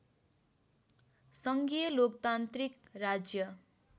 सङ्घीय लोकतान्त्रिक राज्य